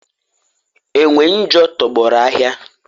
enwe njo tọgbọrọ ahịa